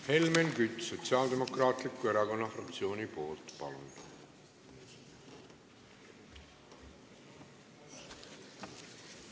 Helmen Kütt Sotsiaaldemokraatliku Erakonna fraktsiooni nimel, palun!